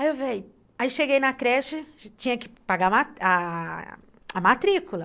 Ai cheguei na creche, tinha que paga a, a matricula.